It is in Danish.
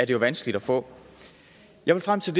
jo vanskeligt at få jeg vil frem til